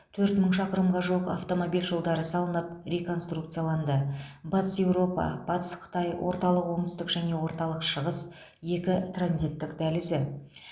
төрт мың шақырымға жуық автомобиль жолдары салынып реконструкцияланды батыс еуропа батыс қытай орталық оңтүстік және орталық шығыс екі транзитттік дәлізі